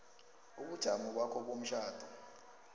ubujamo bakho bomtjhado